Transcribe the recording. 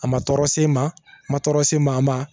A ma tɔɔrɔ s'i ma a ma tɔɔrɔ s'i ma a ma